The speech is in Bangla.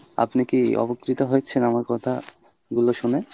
আপনি কি উপকৃত হয়েছেন আমার কথা গুলো শুনে?